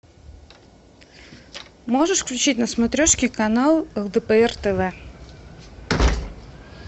можешь включить на смотрешке канал лдпр тв